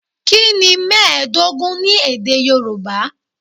Kí ni mẹ́ẹ̀ẹ́dógún ní èdè Yorùbá?